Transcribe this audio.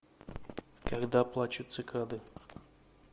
когда плачут цикады